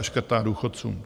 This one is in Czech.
A škrtá důchodcům.